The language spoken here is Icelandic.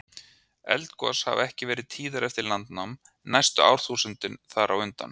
Eldgos hafa ekki verið tíðari eftir landnám en næstu árþúsund þar á undan.